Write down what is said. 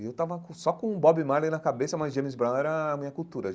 E eu tava com só com o Bob Marley na cabeça, mas James Brown era a minha cultura.